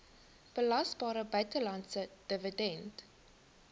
belasbare buitelandse dividend